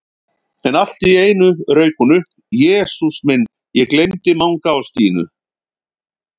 En allt í einu rauk hún upp: Jesús minn, ég gleymdi Manga og Stínu